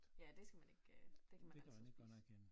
Ja det skal man ikke øh det kan man altid spise